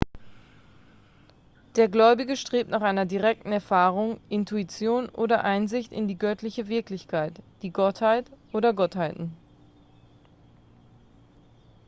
der gläubige strebt nach einer direkten erfahrung intuition oder einsicht in die göttliche wirklichkeit/die gottheit oder gottheiten